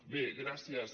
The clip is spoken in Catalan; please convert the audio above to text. bé gràcies